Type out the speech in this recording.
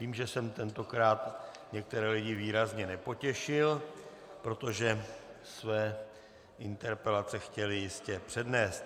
Vím, že jsem tentokrát některé lidí výrazně nepotěšil, protože své interpelace chtěli jistě přednést.